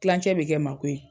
Tilancɛ bɛ kɛ mako ye.